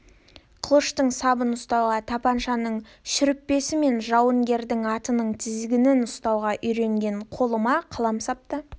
қылыштың сабын ұстауға тапаншаның шүріппесі мен жауынгердің атының тізгінін ұстауға үйренген қолыма қаламсап та